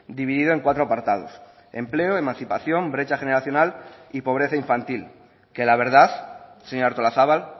dividido en cuatro apartados empleo emancipación brecha generacional y pobreza infantil que la verdad señora artolazabal